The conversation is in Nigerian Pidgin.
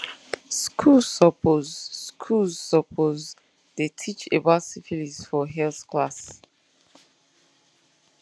schools suppose schools suppose dey teach about syphilis for health class